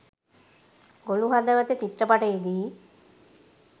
ගොළු හදවත චිත්‍රපටයේදී